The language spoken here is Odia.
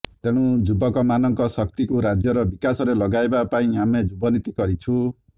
ତେଣୁ ଯୁବକମାନଙ୍କ ଶକ୍ତିକୁ ରାଜ୍ୟର ବିକାଶରେ ଲଗାଇବା ପାଇଁ ଆମେ ଯୁବନୀତି କରିଛୁ